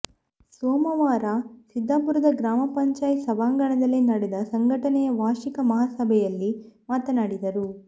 ಸೋಮವಾರ ಸಿದ್ದಾಪುರದ ಗ್ರಾಮ ಪಂಚಾಯಿತಿ ಸಭಾಂಗಣದಲ್ಲಿ ನಡೆದ ಸಂಘಟನೆಯ ವಾರ್ಷಿಕ ಮಹಾಸಭೆಯಲ್ಲಿ ಮಾತನಾಡಿದರು